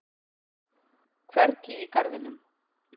Hvergi í garðinum.